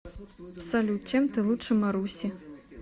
салют чем ты лучше маруси